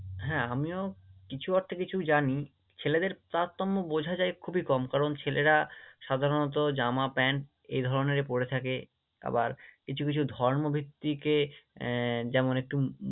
হ্যাঁ, আমিও কিছু অর্থে কিছু জানি, ছেলেদের তারতম্য বোঝা যায় খুবই কম কারণ ছেলেরা সাধারণত জামা-প্যান্ট এই ধরণেরই পড়ে থাকে আবার কিছু কিছু ধর্মভিত্তিকে আহ যেমন একটু